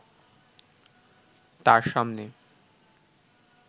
তার সামনে